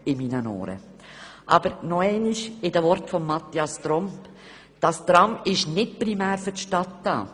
Aber nochmals mit den Worten von Mathias Tromp: «Das Tram ist nicht primär für die Stadt da.»